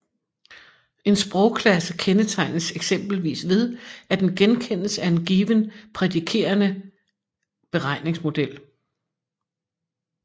En sprogklasse kendetegnes eksempelvis ved at den genkendes af en given prædikerende beregningsmodel